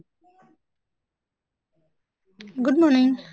good morning